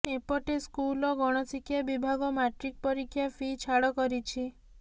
ଏପଟେ ସ୍କୁଲ ଓ ଗଣଶିକ୍ଷା ବିଭାଗ ମାଟ୍ରିକ୍ ପରୀକ୍ଷା ଫି ଛାଡ଼ କରିଛି